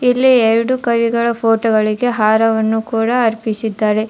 ಇಲ್ಲಿ ಎರಡು ಕೈಗಳ ಫೋಟೋಗಳಿದೆ ಹಾರವನ್ನು ಕೂಡ ಅರ್ಪಿಸಿದ್ದಾರೆ.